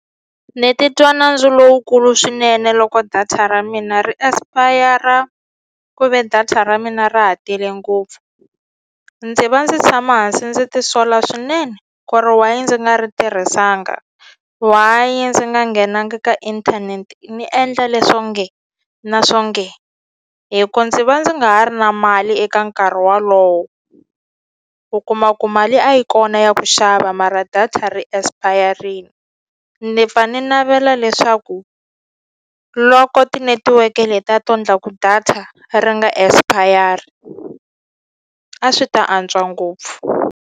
Ni titwa nandzu lowukulu swinene loko data ra mina ri esipayara ku ve data ra mina ra ha tele ngopfu ndzi va ndzi tshama hansi ndzi ti sola swinene ku ri why ndzi nga ri tirhisanga why ndzi nga nghenangi ka inthaneti ni endla leswo nge na swo nge hi ku ndzi va ndzi nga ha ri na mali eka nkarhi wolowo u kuma ku mali a yi kona ya ku xava mara data ri esipayarini ni pfa ni navela leswaku loko tinetiweke leti a to endla ku data ri nga expire a swi ta antswa ngopfu.